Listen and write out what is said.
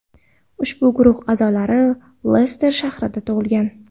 Ushbu guruh a’zolari Lester shahrida tug‘ilgan.